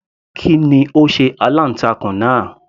Kí ni ó sé aláǹtakùn náà